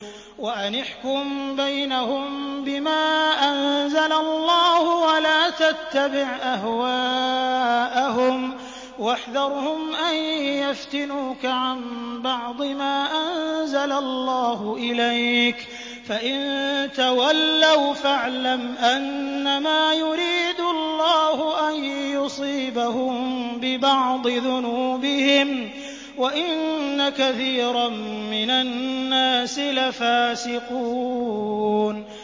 وَأَنِ احْكُم بَيْنَهُم بِمَا أَنزَلَ اللَّهُ وَلَا تَتَّبِعْ أَهْوَاءَهُمْ وَاحْذَرْهُمْ أَن يَفْتِنُوكَ عَن بَعْضِ مَا أَنزَلَ اللَّهُ إِلَيْكَ ۖ فَإِن تَوَلَّوْا فَاعْلَمْ أَنَّمَا يُرِيدُ اللَّهُ أَن يُصِيبَهُم بِبَعْضِ ذُنُوبِهِمْ ۗ وَإِنَّ كَثِيرًا مِّنَ النَّاسِ لَفَاسِقُونَ